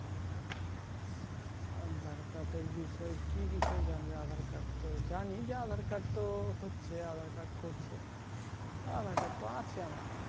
aadhar card এর বিষয়ে কি বিষয়ে জানবে aadhar card তো জানি যে aadhar card তো হচ্ছে aadhar card করছে aadhar card তো আছে আমার